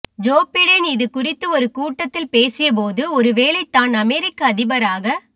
Joe Biden இதுகுறித்து ஒரு கூட்டத்தில் பேசியபோது ஒருவேளை தான் அமெரிக்க அதிபராக